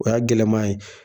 O y'a gɛlɛma ye